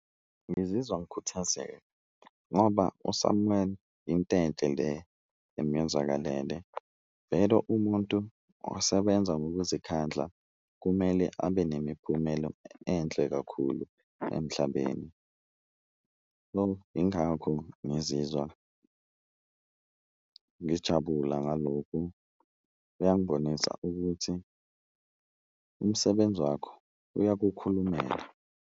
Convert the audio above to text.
Ngizizwa ngikhuthazeka ngoba uSamuel into enhle le emuyenzakalele, vele umuntu osebenza ngokuzikhandla kumele abe nemiphumelo enhle kakhulu emhlabeni. Ingakho ngizizwa ngijabula ngalokhu, kuyangibonisa ukuthi umsebenzi wakho uyakukhulumela.